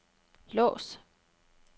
lås